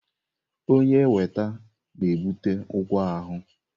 Onye weta na-ebute ụgwọ ahụ.